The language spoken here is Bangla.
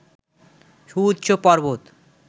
সুউচ্চ পর্বত